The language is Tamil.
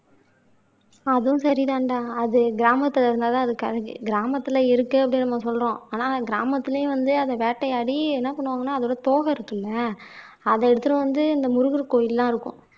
அதுவும் சரிதான்டா அது கிராமத்துல இருந்தாதான் அதுக்கு அதுக்கு கிராமத்துல இருக்கு அப்படின்னு நம்ம சொல்றோம் ஆனா கிராமத்துலயே வந்து அதை வேட்டையாடி என்ன பண்ணுவாங்கன்னா அதோட தோகை இருக்குல்ல அதை எடுத்துட்டு வந்து இந்த முருகர் கோயில் எல்லாம் இருக்கும்